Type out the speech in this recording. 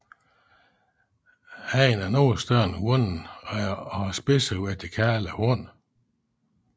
Hannen er noget større end hunnen og har spidse vertikale horn